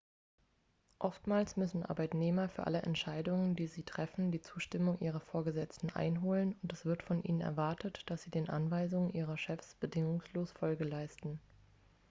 oftmals müssen arbeitnehmer für alle entscheidungen die sie treffen die zustimmung ihrer vorgesetzten einholen und es wird von ihnen erwartet dass sie den anweisungen ihrer chefs bedingungslos folge leisten